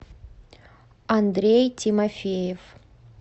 андрей тимофеев